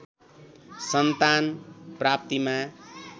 सन्तान प्राप्तिमा